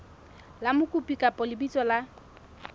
la mokopi kapa lebitso la